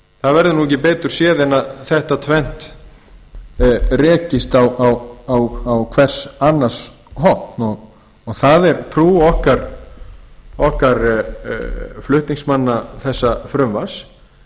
það verður ekki betur séð en þetta tvennt rekist á hvers annars horn það er trú okkar flutningsmanna þessa frumvarps